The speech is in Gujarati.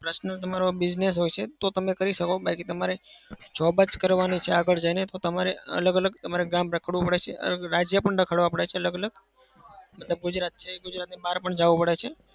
personal તમારો business હોય છે તો તમે કરી શકો. બાકી તમારે job જ કરવાની છે આગળ જઈને તો તમારે અલગ અલગ તમારે ગામ રખડવું પડે છે. રાજ્ય પણ રખડવા પડે છે. અલગ અલગ મતલબ ગુજરાત છે, ગુજરાતની બહાર પણ જાવું પડે છે.